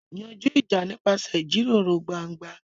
Yanjú ìjà nípasẹ̀ ìjíròrò gbangba.